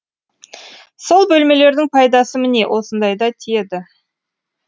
сол бөлмелердің пайдасы міне осындайда тиеді